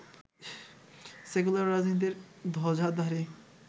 secular রাজনীতির ধ্বজাধারী